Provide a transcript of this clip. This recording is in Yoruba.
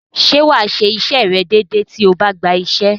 Ṣé wà á ṣe iṣẹ́ rẹ̀ déedée tó o bá gba iṣẹ́?